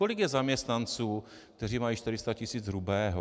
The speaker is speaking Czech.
Kolik je zaměstnanců, kteří mají 400 tis. hrubého?